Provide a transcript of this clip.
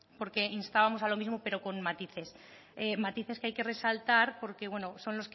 porque instábamos a lo mismo pero con matices matices que hay que resaltar porque son los que